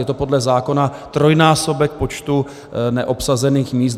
Je to podle zákona trojnásobek počtu neobsazených míst.